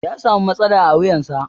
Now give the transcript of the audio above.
Ya samu matsala a wuyansa.